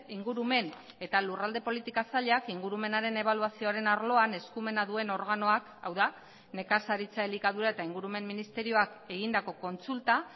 ingurumen eta lurralde politika sailak ingurumenaren ebaluazioaren arloan eskumena duen organoak hau da nekazaritza elikadura eta ingurumen ministerioak egindako kontsulta